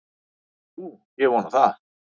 Nú, ég vona það.